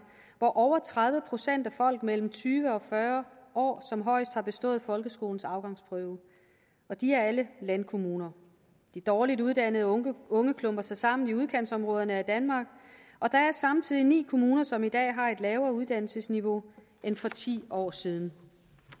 hvor over tredive procent af folk mellem tyve og fyrre år højst har bestået folkeskolens afgangsprøve og de er alle landkommuner de dårligt uddannede unge unge klumper sig sammen i udkantsområderne af danmark og der er samtidig ni kommuner som i dag har et lavere uddannelsesniveau end for ti år siden